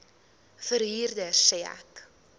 verhuurder sê ek